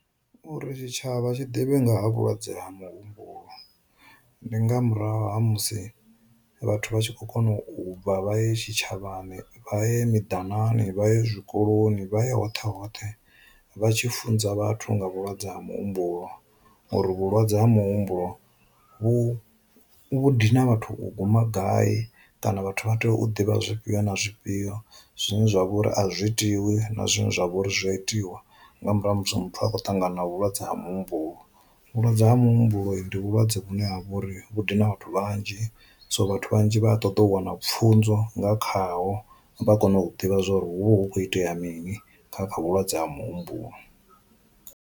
Uri tshi tshavha tshi ḓivhe nga ha vhulwadze ha muhumbulo, ndi nga murahu ha musi vhathu vha tshi kho kona u bva vha ye tshi tshavhani vha ye mi danani vha ye zwikoloni vha ya hoṱhe hoṱhe vha tshi funza vhathu nga vhulwadze ha muhumbulo uri vhulwadze ha muhumbulo vhu vhu dina vhathu u guma gai kana vhathu vha tea u ḓivha zwifhio na zwifhio zwine zwa vha uri a zwi itiwi na zwiṅwe zwa vhouri zwi a itiwa nga murahu ha musi muthu a kho ṱangana vhulwadze ha muhumbulo. Vhulwadze ha mu humbuloni ndi vhulwadze vhune ha vha uri vhu dina vhathu vhanzhi so vhathu vhanzhi vha ṱoḓa u wana pfunzo nga khaho vha kone u ḓivha zwori hu kho itea mini kha kha vhulwadze ha muhumbulo.